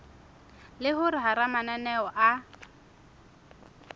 le hore hara mananeo a